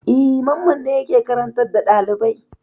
E, Mamman ne yake karantar da ɗalibai.